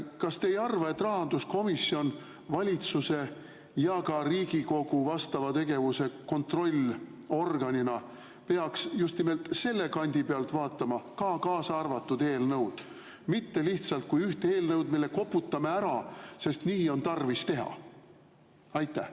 Kas te ei arva, et rahanduskomisjon valitsuse ja ka Riigikogu vastava tegevuse kontrollorganina peaks just nimelt selle kandi pealt vaatama seda eelnõu, mitte lihtsalt kui üht eelnõu, mille koputame ära, sest nii on tarvis teha?